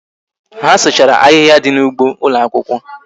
Ha sụchara ahịhịa dị n'ụgbọ ụlọakwụkwọ